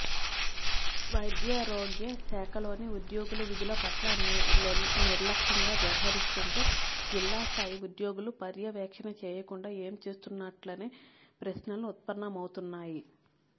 వైద్యారోగ్యశాఖలోని ఉద్యోగులు విధుల పట్ల నిర్లక్షంగా వ్యవహరిస్తుంటే జిల్లా స్థాయి ఉద్యోగులు పర్యవేక్షణ చేయకుండా ఏం చేస్తున్నట్లనే ప్రశ్నలు ఉత్పన్నమవుతున్నాయి